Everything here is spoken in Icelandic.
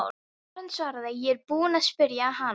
Og Karen svaraði: Ég er búin að spyrja hana.